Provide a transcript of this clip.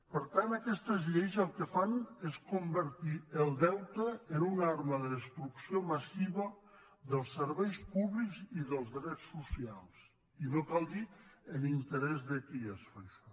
per tant aquestes lleis el que fan és convertir el deute en una arma de destrucció massiva dels serveis públics i dels drets socials i no cal dir en interès de qui es fa això